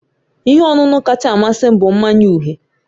Ihe ọṅụṅụ kacha amasị m bụ mmanya uhie